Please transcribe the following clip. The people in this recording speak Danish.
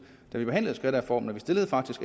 da vi behandlede skattereformen og vi stillede